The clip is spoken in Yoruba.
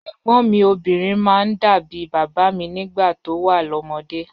Ẹ̀gbọ́̀n mi obinrin máa ń dà bí bàbá mi nígbà tó wà lọ́mọdé.